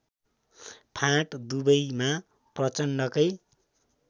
फाँट दुवैमा प्रचण्डकै